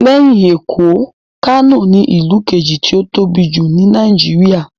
Lẹ́yìn Èkó, Kano ní ìlú kejì tí ó tóbi jù ní Nàìjíríyà